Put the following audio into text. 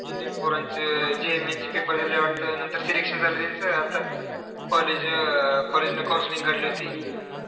Junior पोरांचं JEE mains चे paper दिले वाटतं. नंतर selection झालं त्यांचं. आता college अं college नं counseling काढली होती.